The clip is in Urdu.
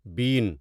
بین